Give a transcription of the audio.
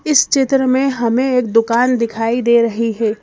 इस चित्र में हमें एक दुकान दिखाई दे रही है।